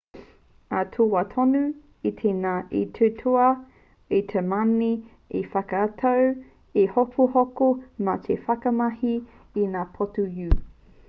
i taua wā tonu i te ngana te tauā-moana o tiamani te whakatū i te hohoko mā te whakamahi i ngā poti-u